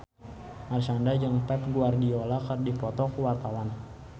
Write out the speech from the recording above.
Marshanda jeung Pep Guardiola keur dipoto ku wartawan